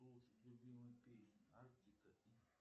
слушать любимую песню артика и